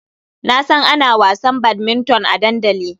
Na san ana wasan badminton a dandali.